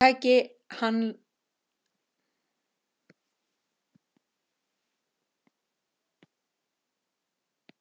Það tæki hann langan tíma að vinna sér aftur það traust sem hann hafði haft.